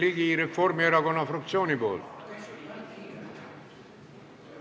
Jürgen Ligi, Reformierakonna fraktsiooni nimel.